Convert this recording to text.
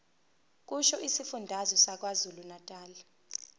kusho isifundazwe sakwazulunatali